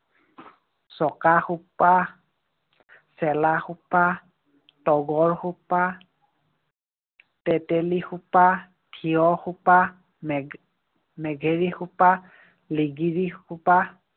চকা খোপা, চেলা খোপা, তগৰ খোপা, তেঁতেলী খোপা, থিয় খোপা, নেঘে~ নেঘেৰি খোপা, লিগিৰী খোপা